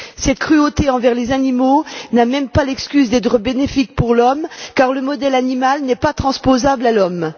Cette cruauté envers les animaux n'a même pas l'excuse d'être bénéfique pour l'homme, car le modèle animal n'est pas transposable à l'homme.